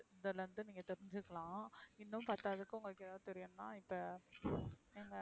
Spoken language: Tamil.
இந்ததுல இருந்து நீங்க தெரிஞ்சுக்கலாம் இன்னும் பத்தாததுக்கு உங்களுக்கு ஏதாது தெரியனும்னா இப்ப,